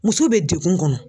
Muso bɛ degun kɔnɔ.